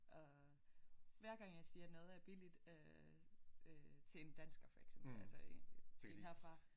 Og hver gang jeg siger noget er billigt øh øh til en dansker for eksempel altså en herfra